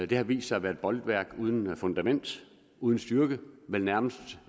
det har vist sig at være et bolværk uden fundament uden styrke men nærmest